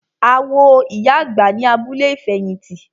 A wo ìyá àgbà ní abúlé ìfẹ̀hìtì.